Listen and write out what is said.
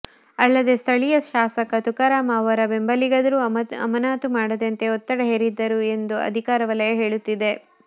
ಅಲ್ಲದೆ ಸ್ಥಳೀಯ ಶಾಸಕ ತುಕಾರಂ ಅವರ ಬೆಂಬಲಿಗರೂ ಅಮಾನತು ಮಾಡದಂತೆ ಒತ್ತಡ ಹೇರಿದ್ದರು ಎಂದು ಅಧಿಕಾರ ವಲಯ ಹೇಳುತ್ತಿದೆ